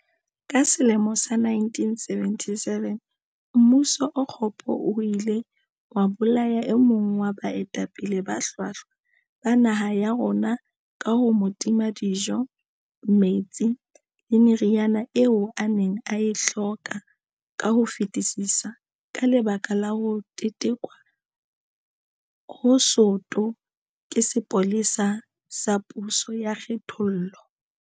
Ka selemo sa 1977, mmuso o kgopo o ile wa bolaya e mong wa baetapele ba hlwahlwa ba naha ya rona ka ho mo tima dijo, metsi le meriana eo a neng a e hloka ka ho fetisisa ka lebaka la ho tetekwa ho soto ke sepolesa sa puso ya kgenthollo.